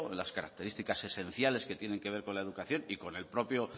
las características esenciales que tienen que ver con la educación y con el propio